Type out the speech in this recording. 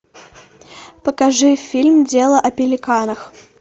покажи фильм дело о пеликанах